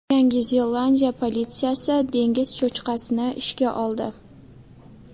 Yangi Zelandiya politsiyasi dengiz cho‘chqasini ishga oldi.